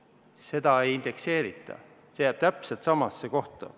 Seda ei indekseerita, see jääb täpselt samasse kohta.